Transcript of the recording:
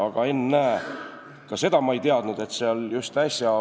Aga ennäe, selgus, et ma ei teadnud ühte asja.